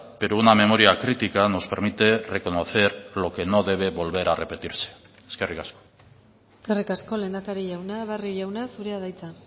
pero una memoria crítica nos permite reconocer lo que no debe volver a repetirse eskerrik asko eskerrik asko lehendakari jauna barrio jauna zurea da hitza